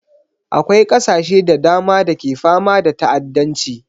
Akwai ƙasashe da dama da ke fama da ta'addanci